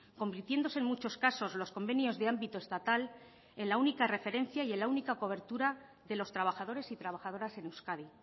convirtiéndose en muchos casos los convenios de ámbito estatal en la única referencia y en la única cobertura de los trabajadores y trabajadoras en euskadi